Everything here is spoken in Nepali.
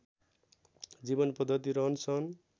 जीवन पद्धति रहनसहन